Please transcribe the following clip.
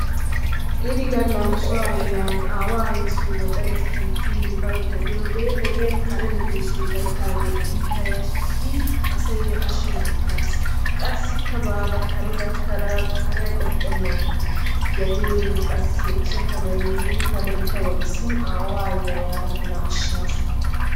Inni galaa nu so ayee ayesoo gaxaariyaa kittin biyowodee ogiyanni karee medosayii gaytidagee ittaa yashisin asay ashinni atassi qasikkaa badaa kaaree gakadaa kariyaa qoxennani soo geliyorinni qassi soo kanayi yiddi tana woxisin awaa ayiyaa yadaa tanaa ashasu.